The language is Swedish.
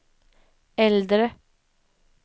äldre